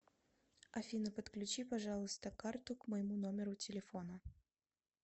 афина подключи пожалуйста карту к моему номеру телефона